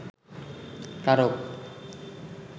কারক